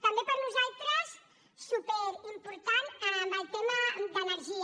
també per nosaltres superimportant el tema d’energia